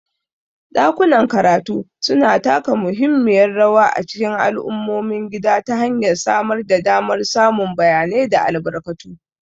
Ɗakunan karatu suna taka muhimmiyar rawa a cikin al'ummomin gida ta hanyar samar da damar samun bayanai da albarkatu.